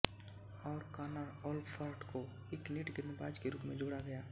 और Connor Olfert को एक नेट गेंदबाज के रूप में जोड़ा गया